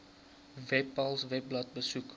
webpals webblad besoek